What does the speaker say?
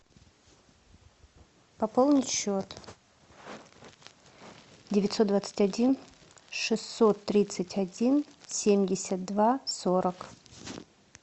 пополнить счет девятьсот двадцать один шестьсот тридцать один семьдесят два сорок